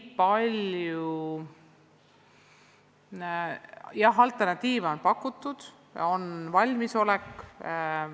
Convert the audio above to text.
Jah, alternatiive on pakutud, on valmisolek.